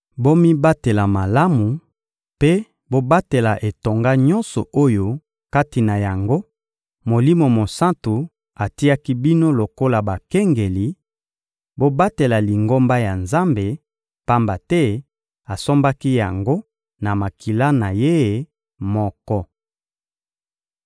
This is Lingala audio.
Bomibatela malamu mpe bobatela etonga nyonso oyo kati na yango Molimo Mosantu atiaki bino lokola bakengeli; bobatela Lingomba ya Nzambe, pamba te asombaki yango na makila na Ye moko.